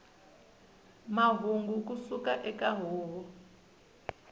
mahungu ku suka eka huvo